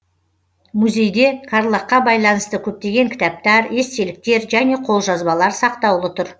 музейде карлагқа байланысты көптеген кітаптар естеліктер және қолжазбалар сақтаулы тұр